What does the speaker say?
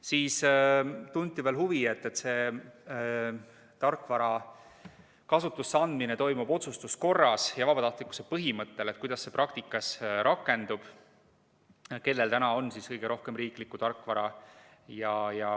Siis tunti veel huvi selle vastu, et kuna see tarkvara kasutusse andmine toimub otsustuskorras ja vabatahtlikkuse põhimõttel, siis kuidas see praktikas rakendub ja kellel täna on kõige rohkem riiklikku tarkvara.